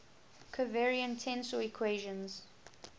covariant tensor equations